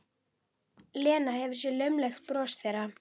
Lena hefur séð laumulegt bros þeirra.